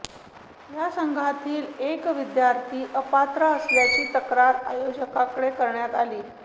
या संघातील एक विद्यार्थिनी अपात्र असल्याची तक्रार आयोजकांकडे करण्यात आली